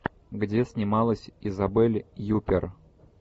где снималась изабель юппер